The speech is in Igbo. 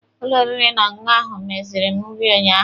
Ụlọ oriri na ọṅụṅụ ahụ meziiri m nri unyaahụ.